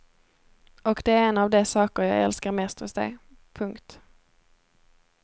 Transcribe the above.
Och det är en av de saker jag älskar mest hos dig. punkt